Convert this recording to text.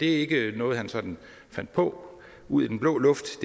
ikke noget han sådan fandt på ud af den blå luft